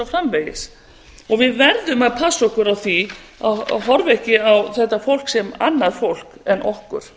framvegis við verðum að passa okkur á því að horfa ekki á þetta fólk sem annað fólk en okkur